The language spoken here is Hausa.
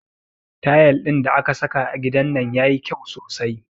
Tayal ɗin da aka saka a gidan nan yayi kyau sosai